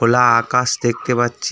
লা আকাশ দেখতে পাচ্ছি।